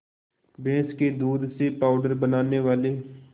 भैंस के दूध से पावडर बनाने वाले